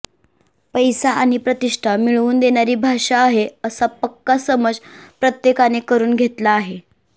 पैसा आणि प्रतिष्ठा मिळवून देणारी भाषा आहे असा पक्का समज प्रत्येकाने करून घेतला आहे